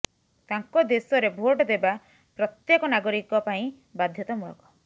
ତାଙ୍କ ଦେଶରେ ଭୋଟ ଦେବା ପ୍ରାତ୍ୟକ ନାଗରିକ ପାଇଁ ବାଧ୍ୟତାମୂଳକ